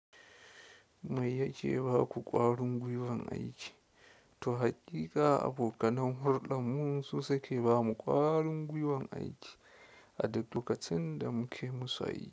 Mai yake ba ku ƙwarin gwiwan aiki? To haƙiƙa abokanan hulɗar mu su suke ba mu ƙwarin gwiwan aiki a duk lokacin da muke musu aiki.